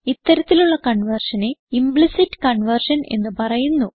ഇത്തരത്തിലുള്ള കൺവേർഷനെ implicit conversion എന്ന് പറയുന്നു